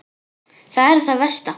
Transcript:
Það er það versta.